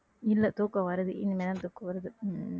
இல்லை தூக்கம் வருது இனிமேல்தான் தூக்கம் வருது உம்